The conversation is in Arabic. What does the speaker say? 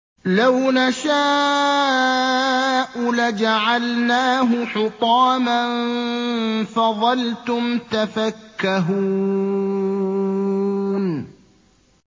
لَوْ نَشَاءُ لَجَعَلْنَاهُ حُطَامًا فَظَلْتُمْ تَفَكَّهُونَ